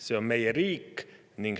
See on meie riik.